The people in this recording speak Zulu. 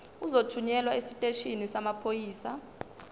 uzothunyelwa esiteshini samaphoyisa